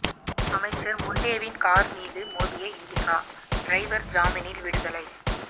அமைச்சர் முண்டேவின் கார் மீது மோதிய இன்டிகா டிரைவர் ஜாமீனில் விடுதலை